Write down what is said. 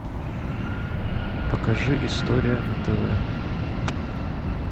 покажи история на тв